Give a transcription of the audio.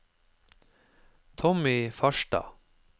Tommy Farstad